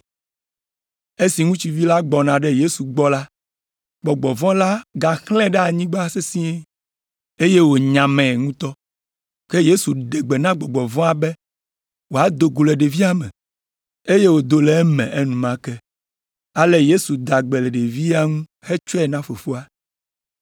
Esi ŋutsuvi la gbɔna ɖe Yesu gbɔ la, gbɔgbɔ vɔ̃ la gaxlãe ɖe anyigba sesĩe, eye wònyamae ŋutɔ. Ke Yesu ɖe gbe na gbɔgbɔ vɔ̃a be wòado go le ɖevia me, eye wòdo le eme enumake; ale Yesu da gbe le ɖevia ŋu hetsɔe na fofoa.